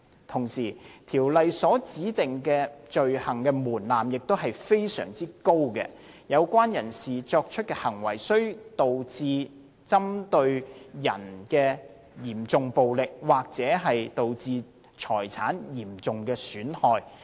同時，《條例》所指定的罪行門檻亦非常高，有關人士作出的行為須導致針對人的嚴重暴力，或導致財產的嚴重損害。